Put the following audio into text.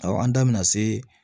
Awɔ an da bɛna se